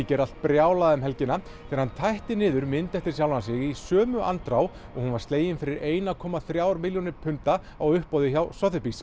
gerði allt brjálað um helgina þegar hann tætti niður mynd eftir sjálfan sig í sömu andrá og hún var slegin fyrir eins komma þrjár milljónir punda á uppboði hjá